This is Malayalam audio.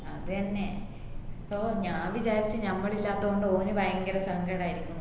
അത് എന്നെ so ഞാൻ വിചാരിച് ഞമ്മള് ഇല്ലാത്തോണ്ട് ഓന് ഭയങ്കരം സങ്കടായിരിക്കുന്ന്